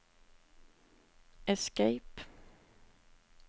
escape